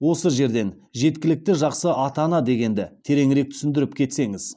осы жерден жеткілікті жақсы ата ана дегенді тереңірек түсіндіріп кетсеңіз